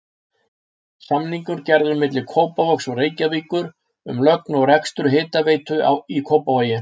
Samningur gerður milli Kópavogs og Reykjavíkur um lögn og rekstur hitaveitu í Kópavogi.